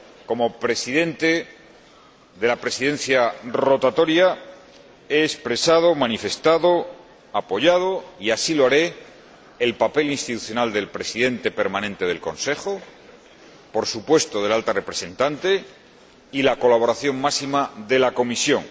Como Presidente de la Presidencia rotatoria he expresado, manifestado, apoyado, y así lo haré, el papel institucional del Presidente permanente del Consejo, por supuesto, de la Alta Representante y la colaboración máxima de la Comisión.